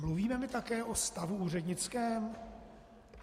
Mluvíme my také o stavu úřednickém?